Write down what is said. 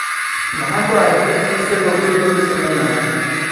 Maxaad ku aragtay isagoo guriga ku samaynaya?